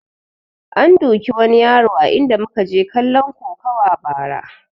An duki wani yaro a inda muka je kalon kokuwa ba ra